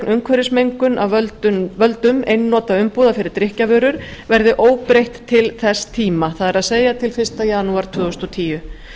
umhverfismengun af völdum einnota umbúða fyrir drykkjarvörur verði óbreytt til þess tíma það er til fyrsta janúar tvö þúsund og tíu